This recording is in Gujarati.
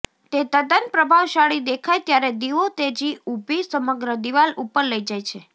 તે તદ્દન પ્રભાવશાળી દેખાય ત્યારે દીવો તેજી ઊભી સમગ્ર દીવાલ ઉપર લઈ જાય છે